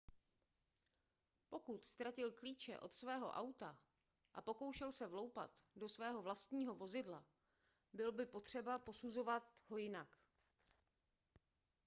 pokud ztratil klíče od svého auta a pokoušel se vloupat do svého vlastního vozidla bylo by potřeba posuzovat ho jinak